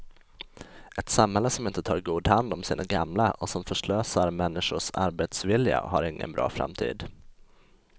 Ett samhälle som inte tar god hand om sina gamla och som förslösar människors arbetsvilja har ingen bra framtid.